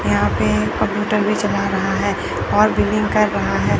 यहां पे कंप्यूटर भी चला रहा है और बिलिंग कर रहा है।